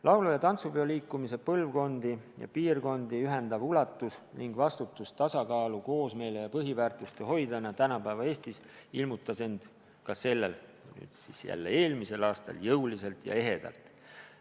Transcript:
Laulu- ja tantsupeoliikumise põlvkondi ja piirkondi ühendav ulatus ning vastutus tasakaalu, koosmeele ja põhiväärtuste hoidjana tänapäeva Eestis ilmnes ka eelmisel aastal jõuliselt ja ehedalt.